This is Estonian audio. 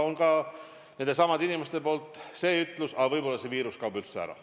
Aga needsamad inimesed on ka öelnud, et võib-olla kaob see viirus üldse ära.